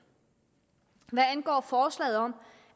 hvad angår forslaget om